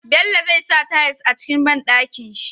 Bello zai sa tayas a cikin banɗakin shi